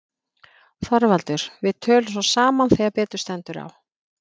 ÞORVALDUR: Við tölum svo saman þegar betur stendur á.